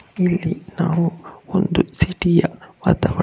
ಇಲ್ಲಿ ನಾವು ಒಂದು ಸಿಟಿ ಯ ವಾತಾವರಣವನ್ನು--